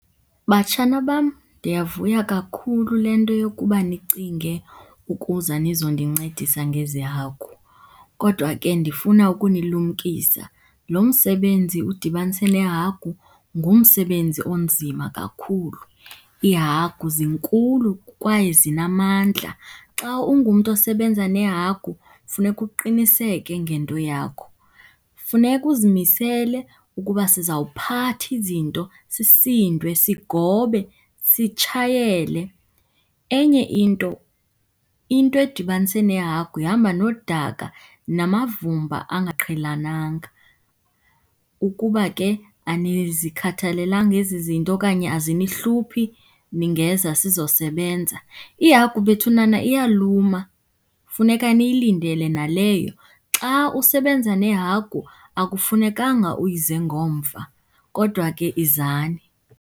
Batshana bam, ndiyavuya kakhulu le nto yokuba nicinge ukuza nizondincedisa ngezi hagu. Kodwa ke ndifuna ukunilumkisa, lo msebenzi udibanise nehagu ngumsebenzi onzima kakhulu. Iihagu zinkulu kwaye zinamandla. Xa ungumntu osebenza nehagu funeka uqiniseke ngento yakho. Funeka uzimisele ukuba sizawuphatha izinto, sisindwe, sigobe, sitshayele. Enye into, into edibanise nehagu ihamba nodaka namavumba angaqhelananga. Ukuba ke anizikhathalelanga ezi zinto okanye azinihluphi, ningeza sizosebenza. Ihagu bethunana iyaluma, funeka niyilindele naleyo. Xa usebenza nehagu akufunekanga uyize ngomva, kodwa ke izani.